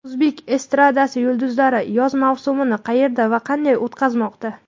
O‘zbek estradasi yulduzlari yoz mavsumini qayerda va qanday o‘tkazmoqda?.